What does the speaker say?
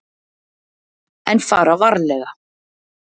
En fara varlega.